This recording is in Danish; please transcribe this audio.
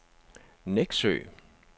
Nexø